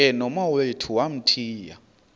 ke nomawethu wamthiya